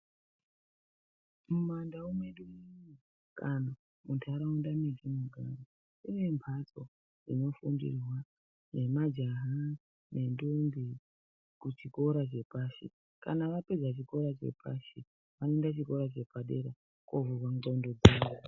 Mumandau medu kana mundaraunda matinogara kunembatso inofundirwa ngemajaha nendombi kuchikora chepashi kanavapedza chikora chepashi vanoenda kuchikora chepadera kundovhurwa ndxondo dzavo.